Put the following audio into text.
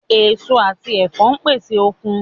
Èso àti ẹ̀fọ́ pèsè okun